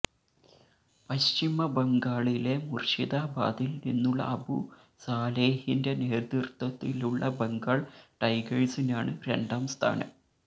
പശ്ചിമ ബംഗാളിലെ മുർഷിദാബാദിൽ നിന്നുള്ള അബു സാലേഹിന്റെ നേതൃത്വത്തിലുള്ള ബംഗാൾ ടൈഗേർസിനാണ് രണ്ടാം സ്ഥാനം